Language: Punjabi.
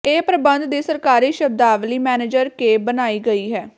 ਇਹ ਪ੍ਰਬੰਧ ਦੀ ਸਰਕਾਰੀ ਸ਼ਬਦਾਵਲੀ ਮੈਨੇਜਰ ਕੇ ਬਣਾਈ ਗਈ ਹੈ